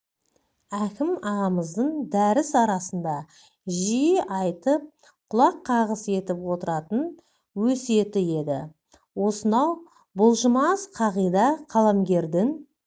әкім ағамыздың дәріс арасында жиі айтып құлаққағыс етіп отыратын өсиеті еді осынау бұлжымас қағида қаламгердің